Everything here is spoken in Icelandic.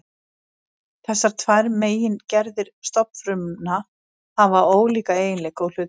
Þessar tvær megingerðir stofnfrumna hafa ólíka eiginleika og hlutverk.